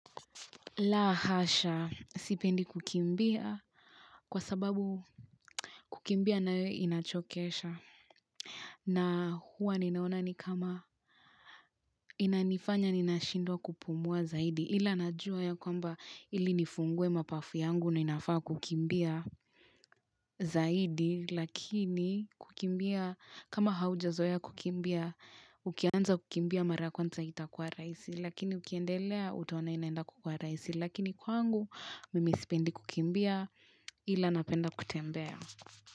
La hasha, sipendi kukimbia kwa sababu kukimbia nae inachokesha. Na huwa ninaona ni kama inanifanya nina shindwa kupumua zaidi. Ila najua ya kwamba ili nifungue mapafu yangu na inafaa kukimbia zaidi. Lakini kukimbia, kama haujazoea kukimbia, ukianza kukimbia mara kwanza haitakuwa rahisi. Lakini ukiendelea utaona inaenda kwa rahisi. Lakini kwangu, mimi isipendi kukimbia ila napenda kutembea.